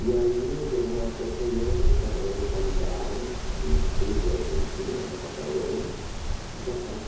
E aí, entre uma coisa e outra, se reencontraram no sul da Argentina, na Patagônia, e casaram